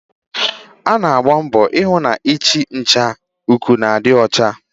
Ọ na-agba mbo ihụ na ihe nhicha-uku na-adị ọcha.